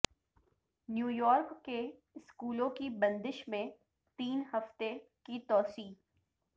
New York کے اسکولوں کی بندش میں تین ہفتے کی توسیع